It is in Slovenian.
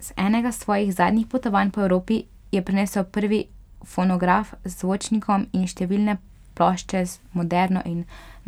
Z enega svojih zadnjih potovanj po Evropi je prinesel prvi fonograf z zvočnikom in številne plošče z moderno in